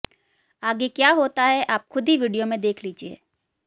आगे क्या होता हैं आप खुद ही वीडियो में देख लीजिये